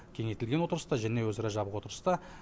кеңейтілген отырыста және өзара жабық отырыста